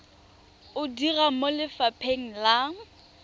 o dira mo lefapheng la